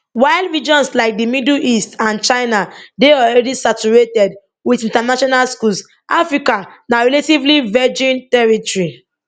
while regions like di middle east and china dey already saturated wit international schools africa na relatively virgin territory